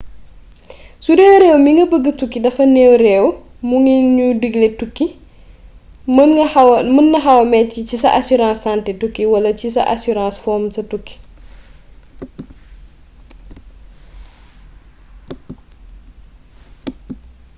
sudee réew mi nga bëgga tukki dafa new réew mu ñu digle tukki mën na xawa metti ci sa assurance santé tukki wala ci sa assurance fomm sa tukki